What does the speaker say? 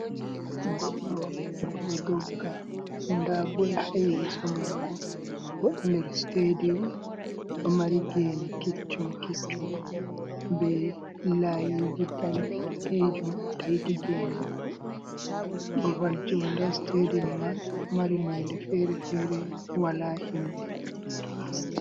Goɗɗo oɗo dogga nda bol ha yesso mako oɗo nder stedium ɗo mari gene keccum keccum be layiji danejum do taiti gene mai, babal joinde ha nder stadium man ɗo mari nonde fere-fere wala himbe tutton.